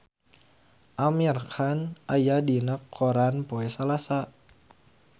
Amir Khan aya dina koran poe Salasa